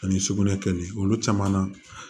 Ani sugunɛ kɛli olu caman na